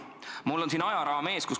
Mul on siin ajaraam ees.